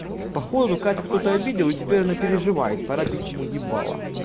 походу катю кто-то обидел и теперь она переживает пора бить ему ебало